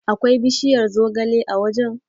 Akwai bishiyar zogale a wajen?